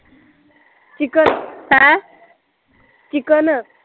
chicken ਆਹ chicken